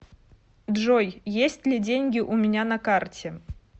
джой есть ли деньги у меня на карте